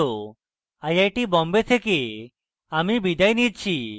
I I T Bombay থেকে amal বিদায় নিচ্ছি